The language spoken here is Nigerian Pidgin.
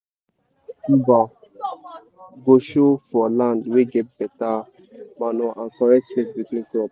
big tuber go show for land wey get better manure and correct space between crop.